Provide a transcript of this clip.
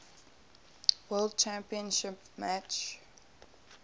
world championship match